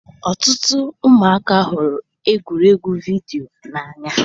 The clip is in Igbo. Ọtụtụ ụmụaka hụrụ egwuregwu vidiyo n'anya.